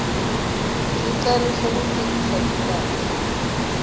sicelo sekungenisa timphahla